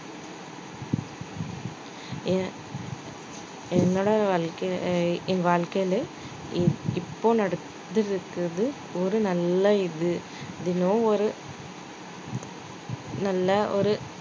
என் என்னோட வாழ்க்கை ஆஹ் என் வாழ்க்கையில இப்~ இப்போ நடக்குறது ஒரு நல்ல இது தினம் ஒரு நல்ல ஒரு